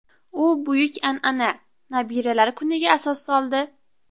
U buyuk an’ana Nabiralar kuniga asos soldi.